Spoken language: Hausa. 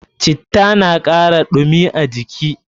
Citta na kara ɗumi a jiki.